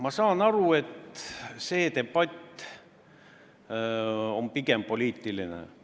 Ma saan aru, et see debatt on pigem poliitiline.